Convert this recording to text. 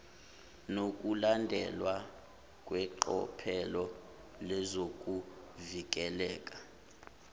nokulandelwa kweqophelo lezokuvikeleka